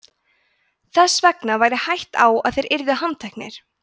þess vegna væri hætta á að þeir yrðu handteknir